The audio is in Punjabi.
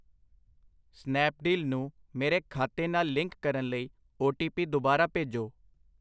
ਸਨੈਪਡੀਲ ਨੂੰ ਮੇਰੇ ਖਾਤੇ ਨਾਲ ਲਿੰਕ ਕਰਨ ਲਈ ਓ ਟੀ ਪੀ ਦੁਬਾਰਾ ਭੇਜੋ।